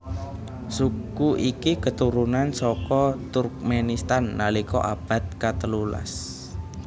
Suku iki keturunan saka Turkmenistan nalika abad katelu las